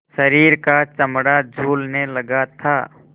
शरीर का चमड़ा झूलने लगा था